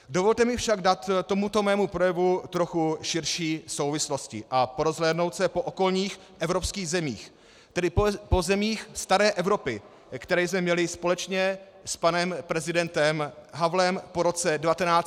Dovolte mi však dát tomuto mému projevu trochu širší souvislosti a porozhlédnout se po okolních evropských zemích, tedy po zemích staré Evropy, které jsme měli společně s panem prezidentem Havlem po roce 1989 za vzor demokracie.